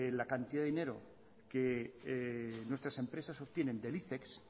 la cantidad de dinero que nuestras empresas obtienen del icex